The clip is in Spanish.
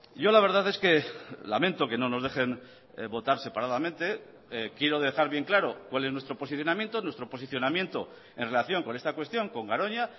yo la verdad es que lamento que no nos dejen votar separadamente quiero dejar bien claro cuál es nuestro posicionamiento nuestro posicionamiento en relación con esta cuestión con garoña